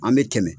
An bɛ tɛmɛ